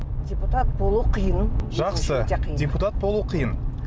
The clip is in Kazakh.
депутат болу қиын жақсы депутат болу қиын